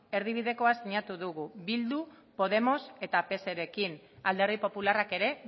erdibidekoa sinatu dugu bildu podemos eta pserekin alderdi popularrak ere